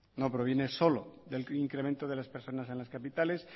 no proviene solo del incremento de las personas en las capitales